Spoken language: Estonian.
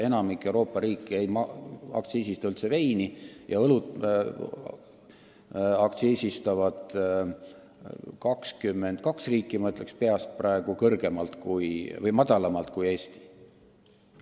Enamik Euroopa riike ei aktsiisista üldse veini, õlut aktsiisistavad 22 riiki – ütlen seda praegu peast – madalamalt kui Eesti.